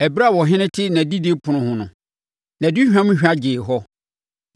Ɛberɛ a ɔhene te nʼadidi ɛpono ho no, nʼaduhwam hwa no gyee hɔ.